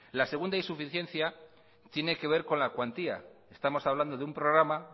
la segunda insuficiencia tiene que ver con la cuantía estamos hablando de un programa